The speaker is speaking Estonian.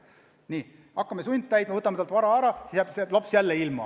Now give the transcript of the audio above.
Nii, hakkame sundtäitma: võtame talt vara ära, aga siis kannatab ka laps, eks ole.